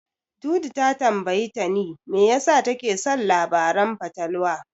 Dudu ta tambayi Tani me yasa take son labaran fatalwa.